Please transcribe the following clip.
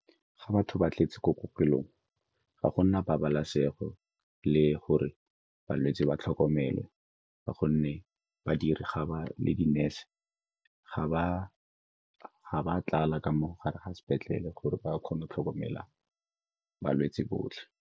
Ga batho ba tletse ko kokelong, ga gona pabalesego le gore balwetse ba tlhokomelwe ka gonne badiri, ga ba le di-nurse ga ba tlala ka mo gare ga sepetlele gore ba kgone go tlhokomela balwetse botlhe.